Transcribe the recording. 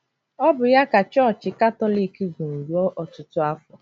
Ọ bụ ya ka Chọọchị Katọlik gụrụ ruo ọtụtụ afọ.